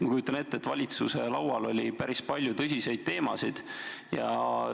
Ma kujutan ette, et valitsuse laual oli päris palju tõsiseid teemasid.